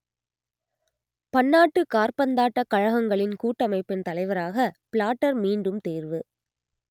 பன்னாட்டுக் காற்பந்தாட்டக் கழகங்களின் கூட்டமைப்பின் தலைவராக பிளாட்டர் மீண்டும் தேர்வு